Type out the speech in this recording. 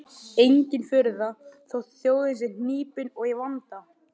Engin furða þótt þjóðin sé hnípin og í vanda.